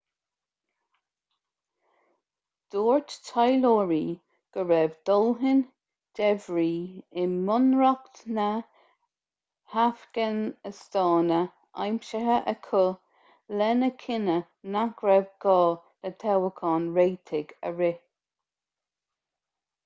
dúirt taidhleoirí go raibh dóthain débhrí i mbunreacht na hafganastáine aimsithe acu lena chinneadh nach raibh gá le toghchán réitigh a rith